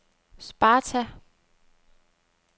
Sparta